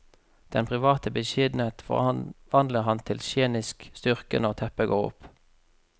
Den private beskjedenhet forvandler han til scenisk styrke når teppet går opp.